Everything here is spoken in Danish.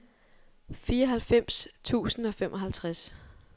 fireoghalvfems tusind og femoghalvtreds